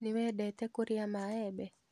Nĩwendete kũria maembe?